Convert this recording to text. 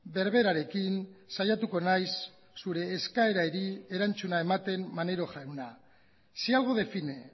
berberarekin saiatuko naiz zure eskaerari erantzuna ematen maneiro jauna si algo define